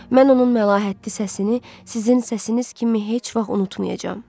Mən onun məlahətli səsini sizin səsiniz kimi heç vaxt unutmayacağam.